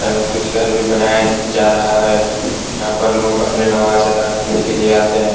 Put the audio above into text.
यहां कुछ घर भी बनाया जा रहा है यहां पर लोग अपने नवाज अदा करने आते हैं।